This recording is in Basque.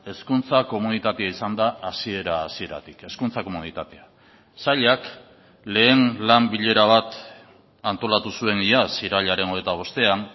hezkuntza komunitatea izan da hasiera hasieratik hezkuntza komunitatea sailak lehen lan bilera bat antolatu zuen iaz irailaren hogeita bostean